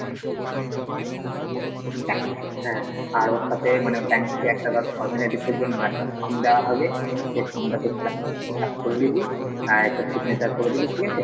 হ্যাঁ, আর ওর সাথে মানে bank থেকে একটা ধর formalities এর জন্য একটা form দেওয়া হবে সেই formটা তুই fill up করে দিবি আর একটা signature করে দিবি ঠিক আছে,